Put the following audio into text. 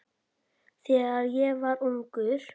Þegar ég var ungur.